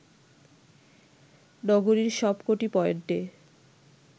নগরীর সবকটি পয়েন্টে